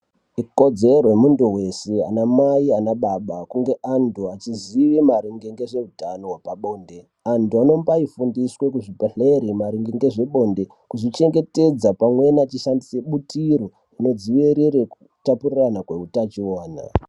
Ikodzero yemuntu wese anamai naanababa kunge antu achiziye maringe ngezvehutano hwepabonde. Antu anombai fumdiswe kuzvibhedhleri maringe ngezvebonde, kuzvi chengetedza pamweni achishandise butiro rinodziirire kutapurirana kweutachiwana.